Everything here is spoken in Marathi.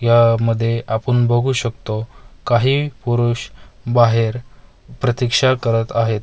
यामध्ये आपण बघू शकतो काही पुरुष बाहेर प्रतीक्षा करत आहेत.